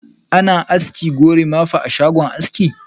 Ana aski "gorimapa" a shago aski.